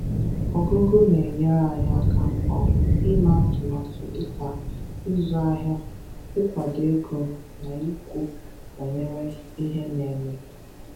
Ọgụgụ na-enyere anyị aka um ime atụmatū dịka ịzụ ahịa, ịkwado ego, na ikwu banyere ihe na-eme.